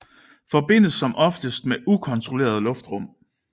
Forbindes som oftest med ukontrolleret luftrum